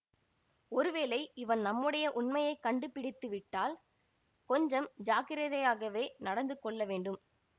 ஒருவேளை இவன் நம்முடைய உண்மையை கண்டுபிடித்து விட்டால் கொஞ்சம் ஜாக்கிரதையாகவே நடந்து கொள்ள வேண்டும்